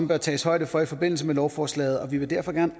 bør tages højde for i forbindelse med lovforslaget og vi vil derfor